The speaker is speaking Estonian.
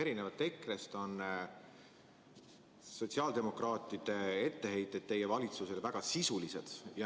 Erinevalt EKRE-st on sotsiaaldemokraatide etteheited teie valitsusele väga sisulised.